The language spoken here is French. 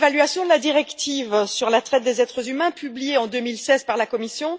Monsieur le Président, l'évaluation de la directive sur la traite des êtres humains, publiée en 2016 par la Commission,